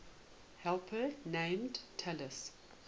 helper named talus